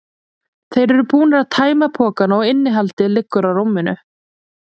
Þeir eru búnir að tæma pokana og innihaldið liggur á rúminu.